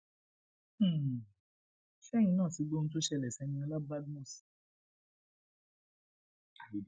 um ṣẹyìn náà ti gbọ ohun tó ṣẹlẹ sí eniola cs] badmus